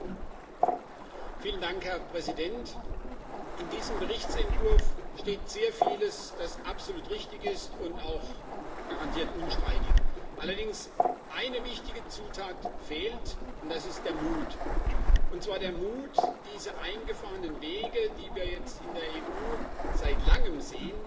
Herr Präsident! In diesem Berichtsentwurf steht sehr vieles, das absolut richtig und auch garantiert unstreitig ist. Allerdings fehlt eine wichtige Zutat, und das ist der Mut, und zwar der Mut, diese eingefahrenen Wege, die wir jetzt in der EU seit Langem sehen, auch mal zu verlassen.